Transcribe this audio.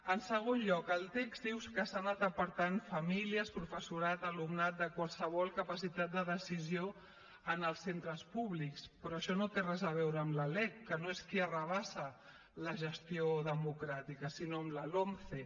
en segon lloc el text diu que s’ha anat apartant famílies professorat alumnat de qualsevol capacitat de decisió en els centres públics però això no té res a veure amb la lec que no és qui arrabassa la gestió democràtica sinó amb la lomce